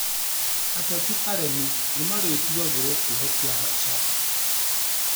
Ateti aremi nĩmarĩtuagĩrwo kĩoho kĩa maisha